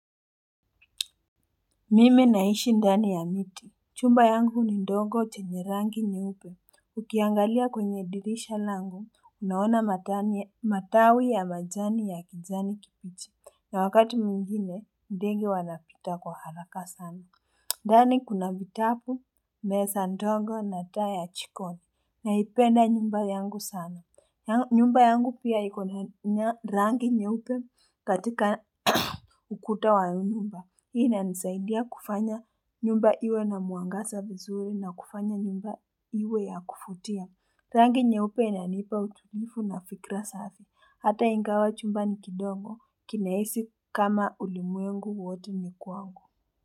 Mimi naishi ndani ya miti, chumba yangu ni ndongo chenye rangi nyeupe, ukiangalia kwenye dirisha langu, unaona matawi ya majani ya kijani kipichi, na wakati mwingine ndege wanapita kwa haraka sana. Dani kuna vitabu, meza ndogo na taa chikoni na ipenda nyumba yangu sana. Nyumba yangu pia ikona rangi nyeupe katika ukuta wa nyumba. Ina nisaidia kufanya nyumba iwe na muangasa nzuri na kufanya nyumba iwe ya kufutia. Rangi nyeupe inanipa utumifu na fikra safi. Hata ingawa chumba niki ndogo kina hisi kama ulimuengu wote ni kwangu.